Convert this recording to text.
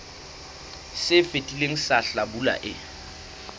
se fetileng sa hlabula e